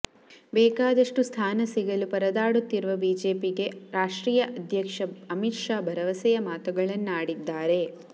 ಬೇಕಾದಷ್ಟು ಸ್ಥಾನ ಸಿಗಲು ಪರದಾಡುತ್ತಿರುವ ಬಿಜೆಪಿಗೆ ರಾಷ್ಟ್ರೀಯ ಅಧ್ಯಕ್ಷ ಅಮಿತ್ ಶಾ ಭರವಸೆಯ ಮಾತುಗಳನ್ನಾಡಿದ್ದಾರೆ